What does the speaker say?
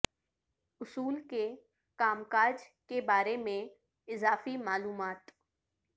اصول کے کام کاج کے بارے میں اضافی معلومات